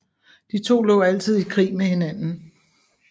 De to lå altid i krig med hinanden